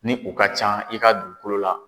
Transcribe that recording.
Ni u ka can i ka dugukolo la.